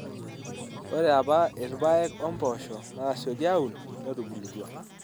Ore apa irpaek o mpoosho naatasioki aun netubulutua.